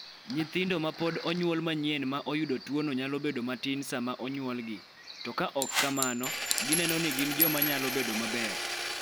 Nyithindo ma pod onyuol manyien ma oyudo tuono nyalo bedo matin sama onyuolgi, to ka ok kamano, gineno ni gin joma nyalo bedo maber.